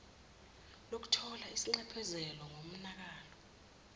lokuthola isinxephezelo ngomonakalo